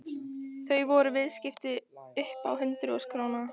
Þetta voru viðskipti upp á hundruð þúsunda króna.